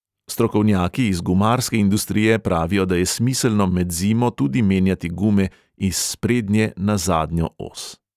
Strokovnjaki iz gumarske industrije pravijo, da je smiselno med zimo tudi menjati gume iz sprednje na zadnjo os.